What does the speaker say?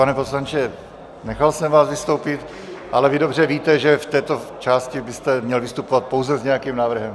Pane poslanče, nechal jsem vás vystoupit, ale vy dobře víte, že v této části byste měl vystupovat pouze s nějakým návrhem.